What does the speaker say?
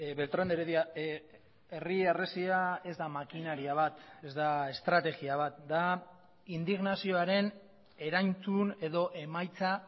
beltrán de heredia herri harresia ez da makinaria bat ez da estrategia bat da indignazioaren erantzun edo emaitza